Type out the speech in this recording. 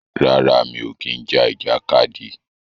Rárá, mi ò kí ń ja ìjàkadì.